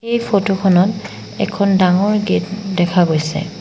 এই ফটো খনত এখন ডাঙৰ গেট দেখা গৈছে।